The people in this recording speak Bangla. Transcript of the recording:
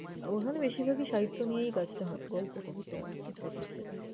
ওখানে বেশির ভাগই সাহিত্য নিয়েই কাজটা হয়, গল্প, কবিতা ইত্যাদি ইত্যাদি।